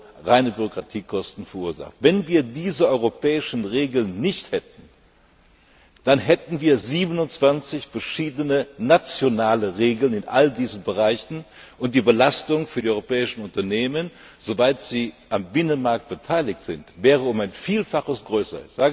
Euro verursacht. Wenn wir diese europäischen Regeln nicht hätten, dann hätten wir 27 verschiedene nationale Regeln in all diesen Bereichen, und die Belastung für die europäischen Unternehmen soweit sie am Binnenmarkt beteiligt sind wäre um ein Vielfaches größer.